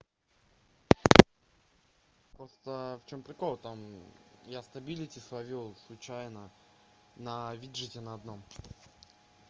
просто в чём прикол там я стабилити словил случайно на виджете на одном